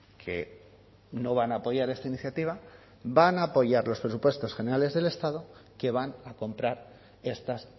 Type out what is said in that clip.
que no van a apoyar esta iniciativa van a apoyar los presupuestos generales del estado que van a comprar estas